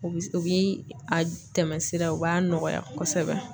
U bi s u bi a tɛmɛ sira o b'a nɔgɔya kɔsɛbɛ.